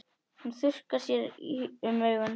Hún þurrkar sér um augun.